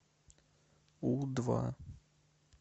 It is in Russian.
у два